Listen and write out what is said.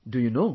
Do you know